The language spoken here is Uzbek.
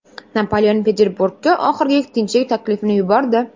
Napoleon Peterburgga oxirgi tinchlik taklifini yubordi.